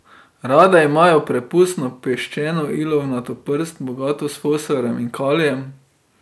Rade imajo prepustno, peščeno ilovnato prst, bogato s fosforjem in kalijem.